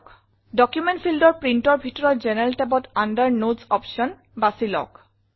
document fieldৰ Printৰ ভিতৰত জেনাৰেল tabত আণ্ডাৰ নোটছ অপশ্যন বাছি লওক